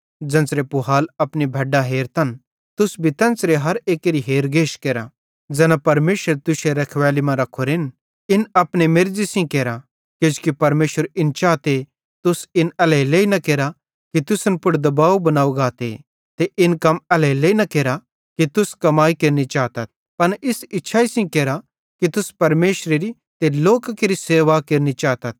ज़ेन्च़रे पुहाल अपनी भैड्डां हेरतन तुस भी तेन्च़रे हर एक्केरी हेरगेश केरा ज़ैना परमेशरे तुश्शे रखवैली मां रखोरेन इन अपने मेर्ज़ी सेइं केरा किजोकि परमेशर इन चाते तुस इन एल्हेरेलेइ न केरा कि तुसन पुड़ दबाव बनाव गाते ते इन कम एल्हेरेलेइ न केरा कि तुस कमाई केरनि चाथ पन इस इच्छाई सेइं केरा कि तुस परमेशरेरी ते लोकां केरि सेवा केरनि चातथ